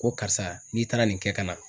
Ko karisa n'i taara nin kɛ ka na